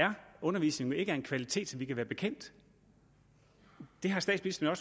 undervisningen jo ikke er af en kvalitet som vi kan være bekendt det har statsministeren